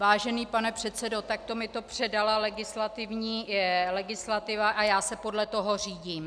Vážený pane předsedo, takto mi to předala legislativa a já se podle toho řídím.